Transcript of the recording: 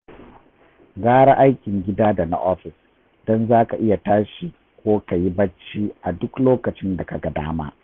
Gara aikin gida da na ofis, don za ka iya tashi ko ka yi bacci a duk lokacin da ka ga dama